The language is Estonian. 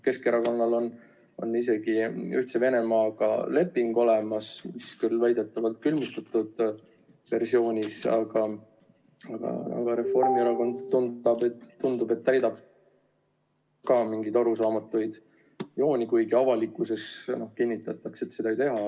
Keskerakonnal on isegi Ühtse Venemaaga leping, mis küll väidetavalt on külmutatud, aga tundub, et ka Reformierakond täidab mingeid arusaamatuid, kuigi avalikkuses kinnitatakse, et seda ei tehta.